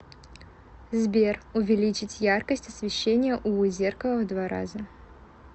сбер увеличить яркость освещения у зеркала в два раза